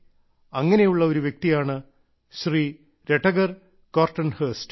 അങ്ങനെയുള്ള ഒരു വ്യക്തിയാണ് ശ്രീ രടഗർ കോർട്ടൻഹോസ്റ്റ്